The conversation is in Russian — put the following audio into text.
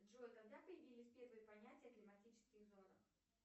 джой когда появились первые понятия о климатических зонах